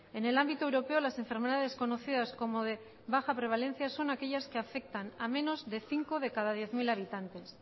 en el ámbito europeo las enfermedades conocidas como de baja prevalencia son aquellas que afectan a menos de cinco de cada diez mil habitantes